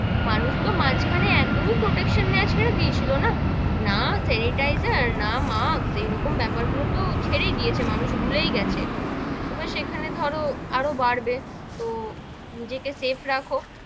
মানুষ তো মাঝ খানে একদমই protection নেওয়া ছেড়ে দিয়ে ছিল না, না senitizor না mask এইরকম বেপার গুলো তো ছেড়েই দিয়েছে, মানুষ ভুলেই গেছে, এবার সেখানে ধরো আরও বাড়বে, তো নিজে কে safe রাখো,